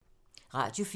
Radio 4